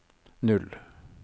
null